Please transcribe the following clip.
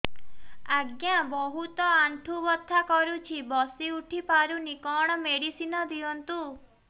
ଆଜ୍ଞା ବହୁତ ଆଣ୍ଠୁ ବଥା କରୁଛି ବସି ଉଠି ପାରୁନି କଣ ମେଡ଼ିସିନ ଦିଅନ୍ତୁ